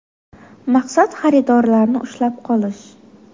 Maqsad xaridorlarni ushlab qolish.